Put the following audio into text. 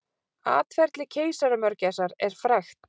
Atferli keisaramörgæsar er frægt.